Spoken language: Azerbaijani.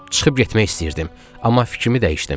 Çıxıb getmək istəyirdim, amma fikrimi dəyişdim.